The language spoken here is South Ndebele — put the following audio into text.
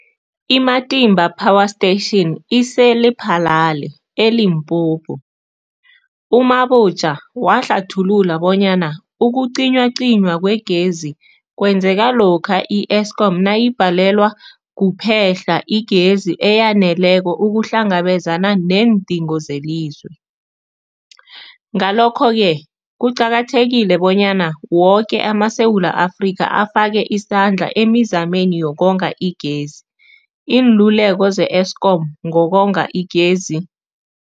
I-Matimba Power Station ise-Lephalale, eLimpopo. U-Mabotja wahlathulula bonyana ukucinywacinywa kwegezi kwenzeka lokha i-Eskom nayibhalelwa kuphe-hla igezi eyaneleko ukuhlangabezana neendingo zelizwe. Ngalokho-ke kuqakathekile bonyana woke amaSewula Afrika afake isandla emizameni yokonga igezi. Iinluleko ze-Eskom ngokonga igezi.